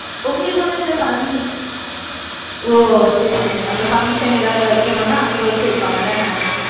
உங்களுக்கு வந்து அந்த func ஓஹ் சரி சரி அந்த function ஏதாவது வெக்கனும்னா அங்க வெச்சுப்பாங்க தானே